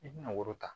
I bina woro ta